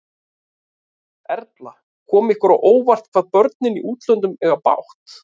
Erla: Kom ykkur á óvart, hvað börnin í útlöndum eiga bágt?